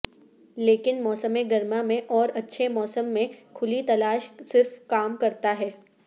لیکن موسم گرما میں اور اچھے موسم میں کھلی تلاش صرف کام کرتا ہے